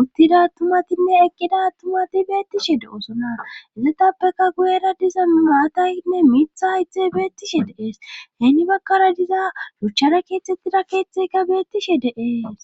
uttida tumatinne eqqida tumati beettishe de7osonaezetappeka guyera diza nmaatayinne mitha ixe beettishe deees heeni bakkara diza ruchchara keeththettida keeththeykka beettishe de7ees.